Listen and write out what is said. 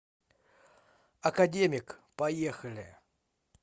академик поехали